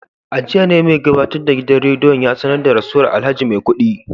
A jiya ne mai gabatar da gidan rediyon ya sanar da rasuwar alhaji maikudi